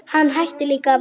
Hann hætti líka að vaxa.